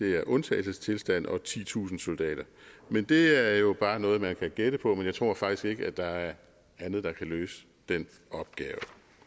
er en undtagelsestilstand og titusind soldater men det er jo bare noget man kan gætte på men jeg tror faktisk ikke at der er andet der kan løse den opgave